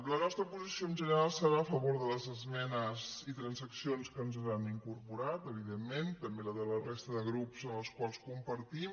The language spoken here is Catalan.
la nostra posició en general serà a favor de les esmenes i transaccions que ens han incorporat evidentment també la de la resta de grups amb els quals compartim